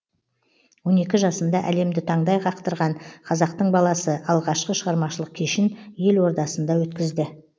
он екі жасында әлемді таңдай қақтырған қазақтың баласы алғашқы шығармашылық кешін ел ордасында өткізді